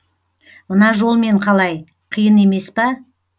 мына жолмен қалай қиын емес па